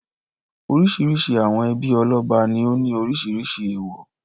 Oríṣiríṣi àwọn ẹbí ọlọ́ba ní ó ní oríṣiríṣi èèwọ̀.